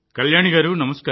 ఆమె అనుభవాన్ని తెలుసుకుందాం